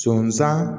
Sɔɔni san